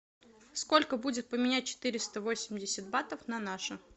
сколько будет поменять четыреста восемьдесят батов на наши